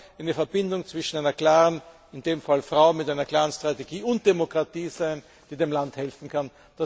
Es kann auch eine Verbindung zwischen einer in dem Fall Frau mit einer klaren Strategie und Demokratie sein, die dem Land helfen kann.